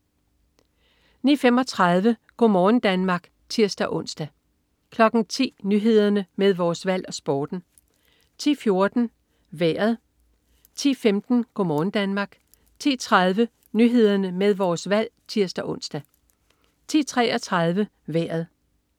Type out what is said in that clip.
09.35 Go' morgen Danmark (tirs-ons) 10.00 Nyhederne med Vores Valg og Sporten 10.14 Vejret 10.15 Go' morgen Danmark 10.30 Nyhederne med Vores Valg (tirs-ons) 10.33 Vejret